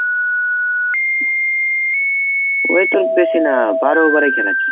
ওই তোর বেশি না, বারো over এ খেলা ছিল।